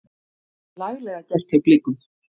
Laglega gert hjá Blikum.